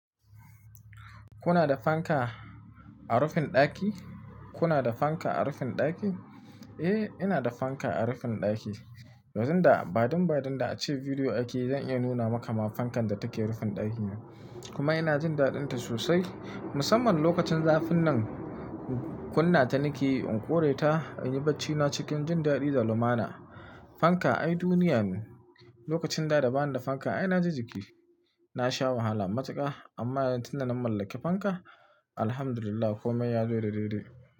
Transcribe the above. Kuna da fanka a rufin ɗaki? Kuna da fanka a rufin ɗaki? Eh, ina da fanka a rufin ɗaki. Wazan da, badin badin da ace bidiyo ake zan iya nuna maka ma fankan da take rufin ɗaki na. Kuma ina jin daɗin ta sosai. Musamman lokacin zafin nan kunna ta nake in kore ta in yi bacci na cikin jin daɗi da lumana. Fanka ai duniyanu. Lokacin da da bani da fanka ai na ji jiki. Na sha wahala matuka. Amma yanzu tunda na mallaki fanka, alhamdulillah komai ya zo daidai dai.